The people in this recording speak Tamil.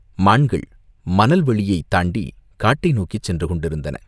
மான்கள் மணல் வெளியைத் தாண்டிக் காட்டை நோக்கிச் சென்று கொண்டிருந்தன.